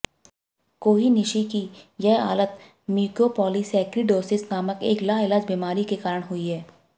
कोही निशि की यह हालत म्यूकोपॉलीसैक्रिडोसिस नामक एक लाइलाज बीमारी के कारण हुई है